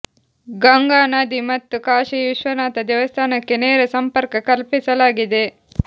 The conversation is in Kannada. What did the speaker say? ಗಂಗಾ ನದಿ ಮತ್ತು ಕಾಶಿ ವಿಶ್ವನಾಥ ದೇವಸ್ಥಾನಕ್ಕೆ ನೇರ ಸಂಪರ್ಕ ಕಲ್ಪಿಸಲಾಗಿದೆ